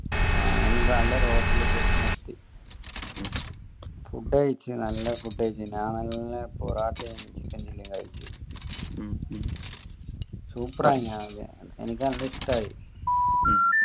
ആഹ് എന്നിട്ട് നല്ല ഒരു hotel ലേക് നിർത്തി food കഴിച് നല്ല food കഴിച്ചിന് ഞാൻ നല്ല പൊറോട്ടയു chicken chilli യു കഴിച് super ആയിന് എനിക്ക് നല്ല ഇഷ്ടയി